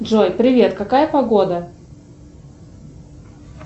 джой привет какая погода